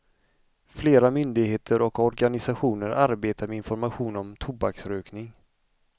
Flera myndigheter och organisationer arbetar med information om tobaksrökning.